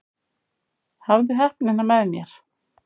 Hafði heppnina með mér